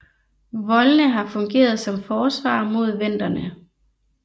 Voldene har fungeret som forsvar mod venderne